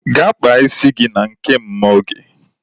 Gaa kpaa isi gị na nke Mama Oge!